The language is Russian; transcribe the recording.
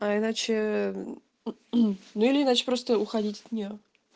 а иначе или иначе просто уходить от неё